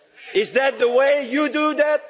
Is that the way you do that?